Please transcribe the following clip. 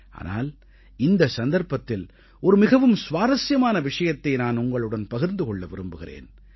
ஆனால் இந்த சந்தர்ப்பத்தில் ஒரு மிகவும் சுவாரசியமான விஷயத்தை நான் உங்களுடன் பகிர்ந்து கொள்ள விரும்புகிறேன்